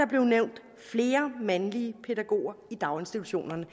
blev nævnt flere mandlige pædagoger i daginstitutionerne